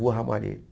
Rua Ramalheta.